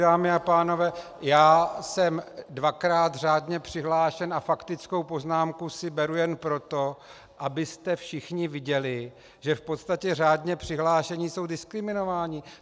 Dámy a pánové, já jsem dvakrát řádně přihlášen a faktickou poznámku si beru jen proto, abyste všichni viděli, že v podstatě řádně přihlášení jsou diskriminováni.